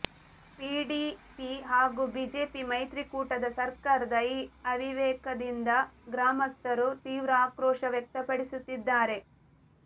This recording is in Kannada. ಪಿಡಿಪಿ ಹಾಗೂ ಬಿಜೆಪಿ ಮೈತ್ರಿಕೂಟದ ಸರ್ಕಾರದ ಈ ಅವಿವೇಕದಿಂದ ಗ್ರಾಮಸ್ಥರು ತೀವ್ರ ಆಕ್ರೋಶ ವ್ಯಕ್ತಪಡಿಸುತ್ತಿದ್ದಾರೆ